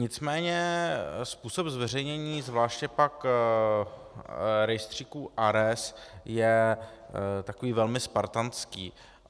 Nicméně způsob zveřejnění, zvláště pak rejstříku ARES, je takový velmi spartánský.